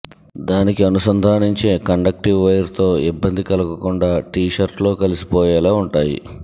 దానికి అనుసంధానించే కండెక్టివ్ వైర్తో ఇబ్బంది కలగకుండా టీషర్టులో కలిసిపోయేలా ఉంటాయి